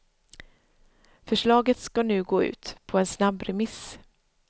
Förslaget ska nu gå ut på en snabbremiss.